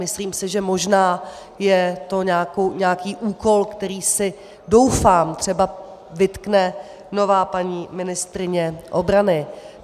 Myslím si, že možná je to nějaký úkol, který si, doufám, třeba vytkne nová paní ministryně obrany.